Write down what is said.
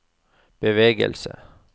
bevegelse